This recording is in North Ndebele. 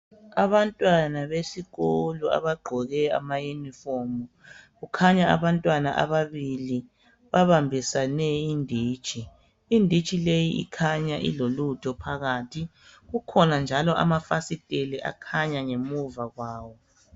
Abantwana besikolo abagqoke ama yunifomu kukhanya abantwana ababili babambisane inditshi, inditshi leyi ikhanya ilolutho phakathi kukhona njalo amafasiteli akhanya ngemuva kwawo.